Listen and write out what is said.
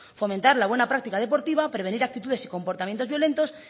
fomentar la buena práctica deportiva prevenir actitudes y comportamientos violentos